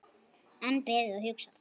Enn beðið og hugsað